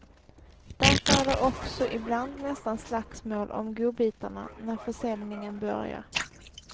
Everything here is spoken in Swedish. Därför är det också ibland nästan slagsmål om godbitarna när försäljningen börjar.